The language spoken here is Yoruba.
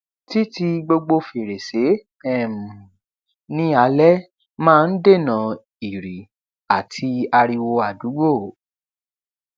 tí ti gbogbo fèrèsé um ní alé máa n n dènà ìrì àti ariwo àdúgbò